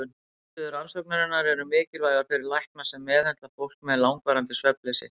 Niðurstöður rannsóknarinnar eru mikilvægar fyrir lækna sem meðhöndla fólk með langvarandi svefnleysi.